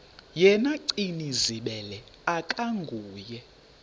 yena gcinizibele akanguye